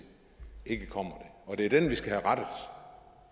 ikke kommer og det er det vi skal have rettet